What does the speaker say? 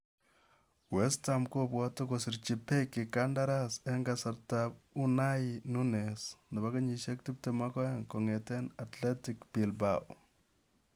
West Ham kobwati kosirchi Beki kandaras ang kasarta ab Unai Nunez, 22, kongete Athletic Bilbao.